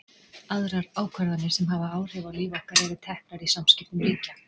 Aðrar ákvarðanir sem hafa áhrif á líf okkar eru teknar í samskiptum ríkja.